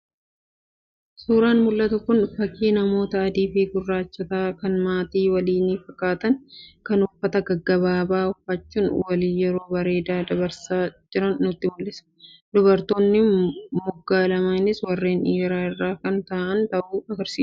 Suuraan mul'atu kun fakii namoota adii fi gurraachota kan maatii waliinii fakkaatan kan uffata gaggabaabaa uffachuun waliin yeroo bareedaa dabarsaa jiran nutti mul'isa. Dubartoonni moggaa lameenis warreen dhiiraa irra kan taa'an ta'uu agarsiisa.